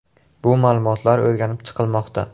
Bu ma’lumotlar o‘rganib chiqilmoqda.